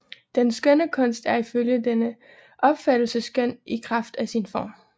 Den skønne kunst er ifølge denne opfattelse skøn i kraft af sin form